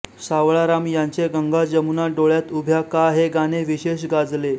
सावळाराम यांचे गंगा जमुना डोळ्यात उभ्या का हे गाणे विशेष गाजले